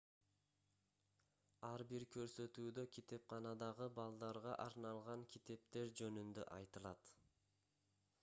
ар бир көрсөтүүдө китепканадагы балдарга арналган китептер жөнүндө айтылат